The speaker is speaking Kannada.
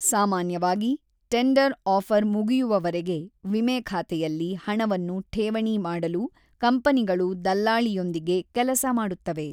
ಸಾಮಾನ್ಯವಾಗಿ, ಟೆಂಡರ್ ಆಫರ್ ಮುಗಿಯುವವರೆಗೆ ವಿಮೆ ಖಾತೆಯಲ್ಲಿ ಹಣವನ್ನು ಠೇವಣಿ ಮಾಡಲು ಕಂಪನಿಗಳು ದಲ್ಲಾಳಿಯೊಂದಿಗೆ ಕೆಲಸ ಮಾಡುತ್ತವೆ.